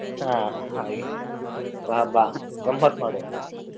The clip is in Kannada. ಹಾ ಹಾಗೆ ಬಾ ಬಾ ಗಮತ್ತ್ ಮಾಡ್ವ.